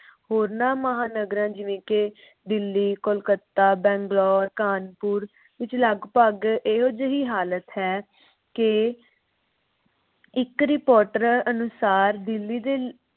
ਹੋਰਨਾੰ ਮਹਾਨਾਗਰਾਂ ਜਿਵੇਂ ਕਿ ਦਿੱਲੀ, ਕੋਲਕਾਤਾ, ਬੰਗਲੌਰ, ਕਾਨਪੁਰ ਵਿਚ ਲਗਪਗ ਇਹੋ ਜਿਹੀ ਹਾਲਤ ਹੈ ਕਿ ਇਕ ਰਿਪੋਰਟ ਅਨੁਸਾਰ ਦਿੱਲੀ ਦੇ